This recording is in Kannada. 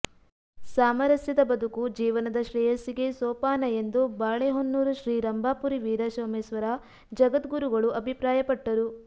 ಸಾಮರಸ್ಯದ ಬದುಕು ಜೀವನದ ಶ್ರೇಯಸ್ಸಿಗೆ ಸೋಪಾನ ಎಂದು ಬಾಳೆಹೊನ್ನೂರು ಶ್ರೀ ರಂಭಾಪುರಿ ವೀರಸೋಮೇಶ್ವರ ಜಗದ್ಗುರುಗಳು ಅಭಿಪ್ರಾಯಪಟ್ಟರು